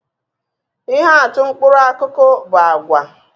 Ihe atụ mkpụrụ akụkụ bu àgwà